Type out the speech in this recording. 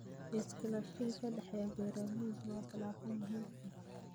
Iskaashiga ka dhexeeya beeralayda waa tallaabo muhiim ah.